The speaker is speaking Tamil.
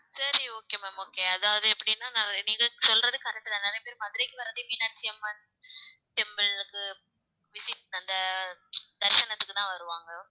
சரி okay ma'am okay அதாவது எப்படின்னா நான் இதை சொல்றது correct தான் நிறைய பேர் மதுரைக்கு வர்றதே மீனாட்சி அம்மன் temple வந்து visit அந்த தரிசனத்துக்குதான் வருவாங்க